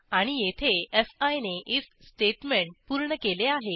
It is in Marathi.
आणि येथे फी ने आयएफ स्टेटमेंट पूर्ण केले आहे